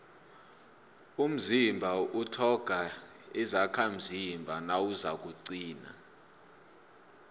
umzimba utlhoga izakhamzimba nawuzakuqina